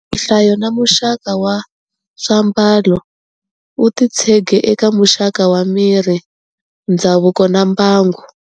Nhlayo na muxaka wa swiambalo wu titshege eka muxaka wa miri, ndzhavuko na mbangu.